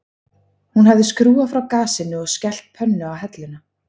Hún hafði skrúfað frá gasinu og skellt pönnu á helluna